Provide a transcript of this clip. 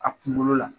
A kunkolo la